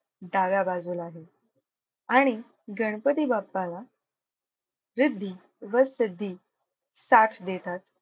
डाव्या बाजूला आहे. आणि गणपती बाप्पाला रिद्धी व सिद्धी साथ देतात.